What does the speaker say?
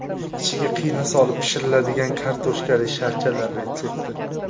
Ichiga qiyma solib pishiriladigan kartoshkali sharchalar retsepti .